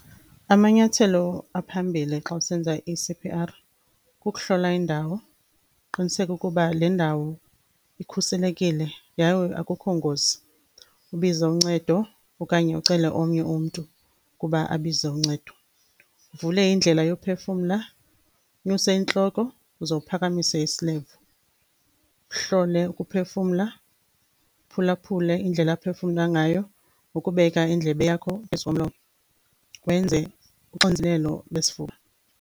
Amanyathelo aphambili xa usenza i-C_P_R kukuhlola indawo, uqiniseke ukuba le ndawo ikhuselekile yaye akukho ngozi. Ubize uncedo okanye ucele omnye umntu ukuba abize uncedo. Uvule indlela yokuphefumla, unyuse intloko uze uphakamise isilevu uhlole ukuphefumla. Uphulaphule indlela aphefumla ngayo ngokubeka indlebe yakho phezu komlomo, wenze uxinzelelo lwesifuba.